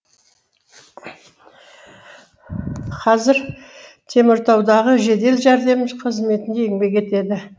қазір теміртаудағы жедел жәрдем қызметінде еңбек етеді